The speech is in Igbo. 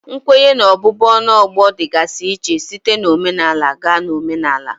Nkwenye na ọbụbụ ọnụ ọgbọ dịgasị iche site na omenala gaa na omenala